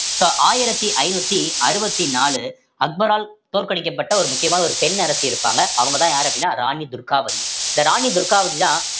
so ஆயிரத்தி ஐந்நூத்தி அறுவத்தி நாலு அக்பரால் தோற்கடிக்கப்பட்ட ஒரு முக்கியமான ஒரு பெண் அரசி இருப்பாங்க அவங்கதான் யாரு அப்படின்னா ராணி துர்காவதி இந்த ராணி துர்காவதிதான்